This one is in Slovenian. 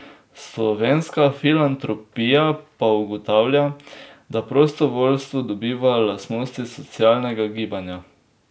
Slovenska filantropija pa ugotavlja, da prostovoljstvo dobiva lastnosti socialnega gibanja.